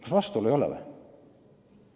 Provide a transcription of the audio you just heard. Kas vastuolu ei ole või?